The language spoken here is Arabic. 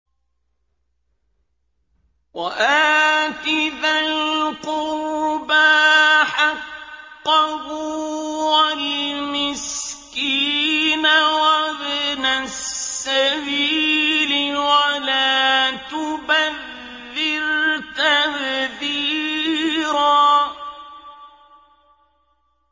وَآتِ ذَا الْقُرْبَىٰ حَقَّهُ وَالْمِسْكِينَ وَابْنَ السَّبِيلِ وَلَا تُبَذِّرْ تَبْذِيرًا